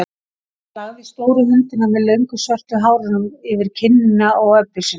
Hann lagði stóru höndina með löngu svörtu hárunum yfir kinnina á Öbbu hinni.